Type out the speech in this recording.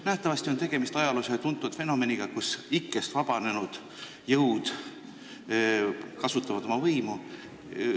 Nähtavasti on tegemist ajaloos tuntud fenomeniga, mille puhul ikkest vabanenud jõud kasutavad oma võimu.